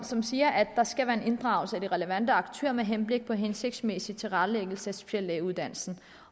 som siger at der skal være inddragelse af de relevante aktører med henblik på hensigtsmæssig tilrettelæggelse af speciallægeuddannelsen